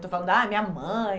Estou falando, ah, minha mãe...